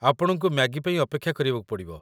ଆପଣଙ୍କୁ ମ୍ୟାଗି ପାଇଁ ଅପେକ୍ଷା କରିବାକୁ ପଡ଼ିବ ।